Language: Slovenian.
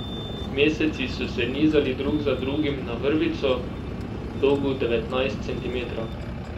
Meseci so se nizali drug za drugim na vrvico, dolgo devetnajst centimetrov.